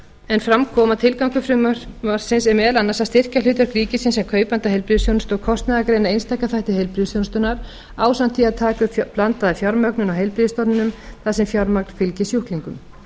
en fram kom að tilgangur frumvarpsins er meðal annars að styrkja hlutverk ríkisins sem kaupanda heilbrigðisþjónustu og kostnaðargreina einstaka þætti heilbrigðisþjónustunnar ásamt því að taka upp blandaða fjármögnun á heilbrigðisstofnunum þar sem fjármagn fylgi sjúklingum